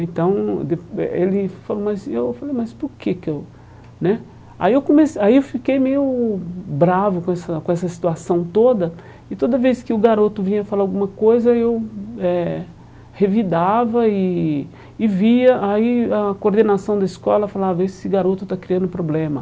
Então, ele falou, mas eu falei mas por que que eu né... Aí eu aí eu fiquei meio bravo com essa com essa situação toda e toda vez que o garoto vinha falar alguma coisa, eu eh revidava e e via aí a coordenação da escola falava, esse garoto está criando problema.